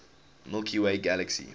milky way galaxy